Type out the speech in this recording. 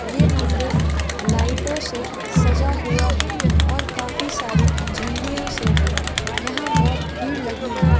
ये मंदिर लाइटों से सजा हुआ है और काफी सारी झंडियों से भी यहाँ बहुत भीड़ लगी है।